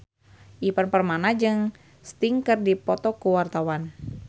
Ivan Permana jeung Sting keur dipoto ku wartawan